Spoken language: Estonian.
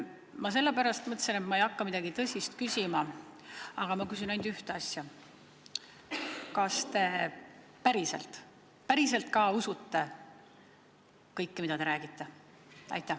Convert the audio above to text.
Ma sellepärast mõtlesin, et ma ei hakka midagi tõsist küsima, küsin ainult ühte asja: kas te päriselt ka usute kõike, mida te räägite?